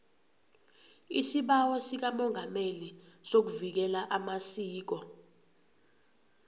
isibawo sikamongameli sokuvikela amasiko